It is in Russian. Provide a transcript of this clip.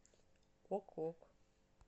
ок ок